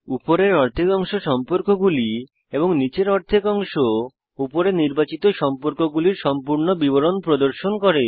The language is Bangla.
উপরের অর্ধেক অংশ সম্পর্কগুলি এবং নীচের অর্ধেক অংশ উপরে নির্বাচিত সম্পর্কগুলির সম্পূর্ণ বিবরণ প্রদর্শন করে